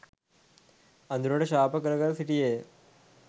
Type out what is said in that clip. අඳුරට ශාප කර කර සිටියේය.